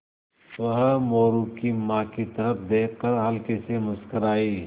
वह मोरू की माँ की तरफ़ देख कर हल्के से मुस्कराये